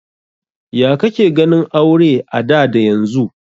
Ya ka ke ganin aure a da da yanzu?